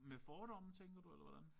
Med fordomme tænker du eller hvordan?